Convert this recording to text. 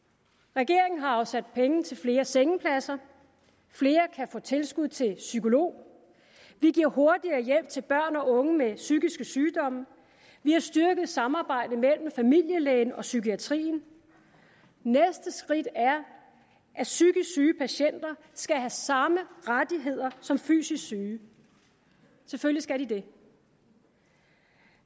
regeringen har afsat penge til flere sengepladser flere kan få tilskud til psykolog vi giver hurtigere hjælp til børn og unge med psykiske sygdomme og vi har styrket samarbejdet mellem familielægen og psykiatrien næste skridt er at psykisk syge patienter skal have samme rettigheder som fysisk syge selvfølgelig skal de det